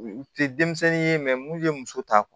U tɛ denmisɛnnin ye mun ye muso ta kun